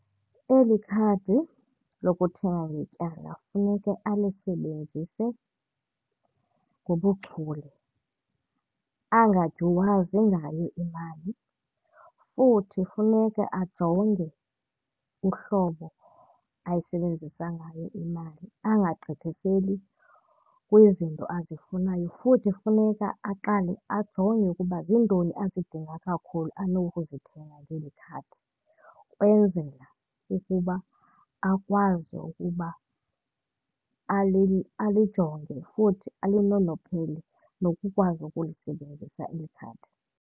Eli khadi lokuthenga ngetyala funeke alisebenzise ngobuchule, angadyuwazi ngayo imali. Futhi funeka ajonge uhlobo ayisebenzisa ngayo imali, angagqithiseli kwizinto azifunayo. Futhi funeka aqale ajonge ukuba ziintoni azidinga kakhulu anokuzithenga kweli khadi ukwenzela ukuba akwazi ukuba alijonge futhi alinonophele nokukwazi ukulisebenzisa eli khadi.